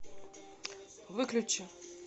выключи